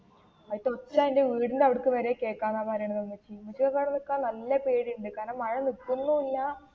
അവിടുത്തെ ഒച്ച എന്റെ വീടിന്റെ അവിടുക്ക് വരെ കേൾക്കന്ന പറയുന്നേ ഉമ്മച്ചി. ഉമ്മച്ചിയൊക്കെ അവിടെ നിൽക്കാൻ നല്ല പേടിയുണ്ട്, കാരണം, മഴ നില്കുന്നുമില്ല.